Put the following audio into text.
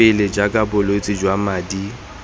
pele jaaka bolwetse jwa madi